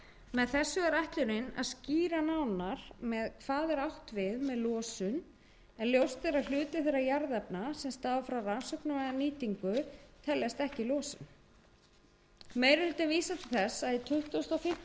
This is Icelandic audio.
með þessu er ætlunin að skýra nánar hvað átt er við með losun en ljóst er að hluti þeirra jarðefna sem stafa frá rannsóknum eða nýtingu teljast ekki losun meiri hlutinn vísar til þess að í tuttugasta og fimmtu